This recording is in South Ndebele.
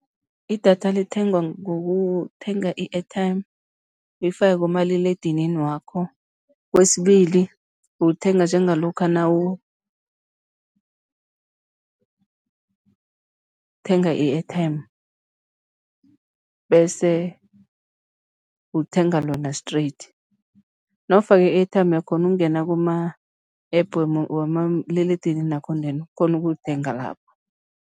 Idatha lithengwa ngokuthenga i-airtime uyifake kumaliledinini wakho. Kwesibili, ulithenga njengalokha nawu thenga i-airtime bese uthenga lona straight. Nawufake i-airtime uyakghona ukungena kuma-App wamaliledinini wakho then ukghone ukulithenga lapho.